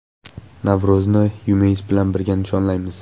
Navro‘zni UMS bilan birga nishonlaymiz.